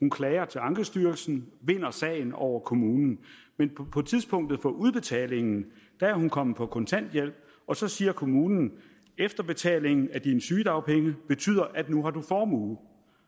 hun klager til ankestyrelsen og vinder sagen over kommunen men på tidspunktet for udbetalingen er hun kommet på kontanthjælp og så siger kommunen efterbetalingen af dine sygedagpenge betyder at nu har du formue